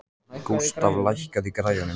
Gústaf, lækkaðu í græjunum.